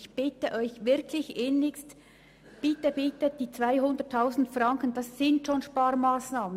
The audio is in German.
Ich bitte Sie wirklich inniglichst, nur die Hälfte, nämlich 200 000 Franken, einzusparen.